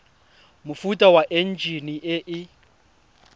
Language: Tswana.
mofuta wa enjine e e